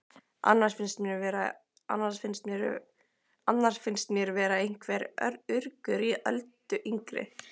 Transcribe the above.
Annars finnst mér vera einhver urgur í Öldu yngri.